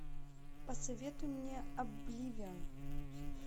посоветуй мне обливион